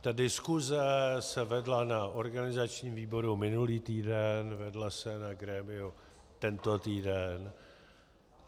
Ta diskuse se vedla na organizačním výboru minulý týden, vedla se na grémiu tento týden.